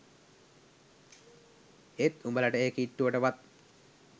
ඒත් උඹලට ඒ කිට්ටුවට වත්